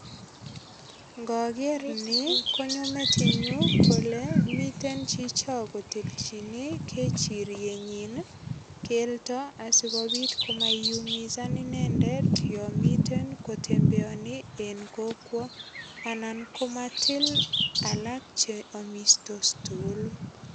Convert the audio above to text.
Ngoger ni konyo metinyu kole mite chocho kotilchine kechirienyin keldo asigopit koiyumisan inendet yon miten kotembeani en kokwo anan komatil alak che amistos tugulu.